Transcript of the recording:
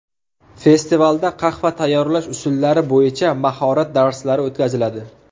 Festivalda qahva tayyorlash usullari bo‘yicha mahorat darslari o‘tkaziladi.